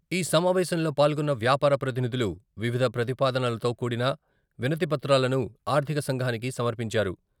ఈ సమావేశంలో పాల్గొన్న వ్యాపార ప్రతినిధులు వివిధ ప్రతిపాదనలతో కూడిన వినతిపత్రాలను ఆర్ధిక సంఘానికి సమర్పించారు.